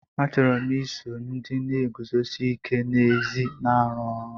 Achọrọ m iso ndị na-eguzosi ike n'ezi na-arụ ọrụ.